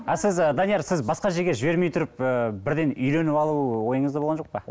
а сіз данияр сіз басқа жерге жібермей тұрып ы бірден үйленіп алу ойыңызда болған жоқ па